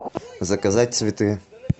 заказать цветы